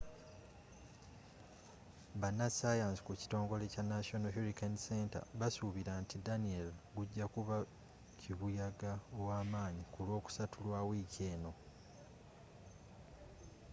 bannasaayansi ku kitongole kya national hurricane center basuubira nti danielle gujja kuba kibuyaga ow'amaanyi ku lwokusatu lwa wiiki eno